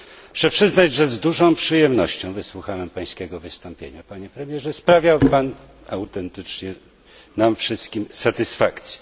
Muszę przyznać, że z dużą przyjemnością wysłuchałem Pańskiego wystąpienia, Panie Premierze. Sprawił Pan autentycznie nam wszystkim satysfakcję.